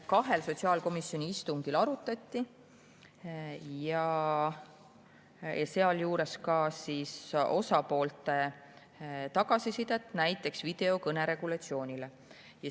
Kahel sotsiaalkomisjoni istungil arutati ka osapoolte tagasisidet näiteks videokõne regulatsioonile.